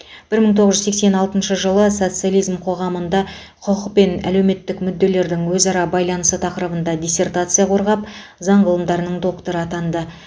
бір мың тоғыз жүз сексен алтыншы жылы социализм қоғамында құқық пен әлеуметтік мүдделердің өзара байланысы тақырыбында диссертация қорғап заң ғылымдарының докторы атанды